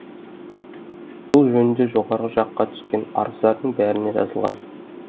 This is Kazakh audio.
бұл жөнінде жоғары жаққа түскен арыздардың бәрінде жазылған